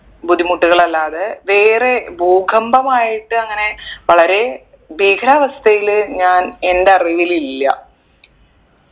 ബുദ്ധിമുട്ടുകൾ അല്ലാതെ വേറെ ഭൂകമ്പമായിട്ട് അങ്ങനെ വളരെ ഭീകരാവസ്ഥയില് ഞാൻ എൻ്റെ അറിവിൽ ഇല്ല്